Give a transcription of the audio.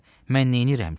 Mən neyləyirəm ki?